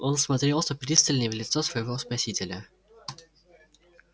он всмотрелся пристальней в лицо своего спасителя